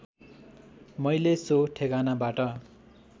मैले सो ठेगानाबाट